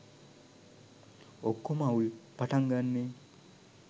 ඔක්කොම අවුල් පටන් ගන්නේ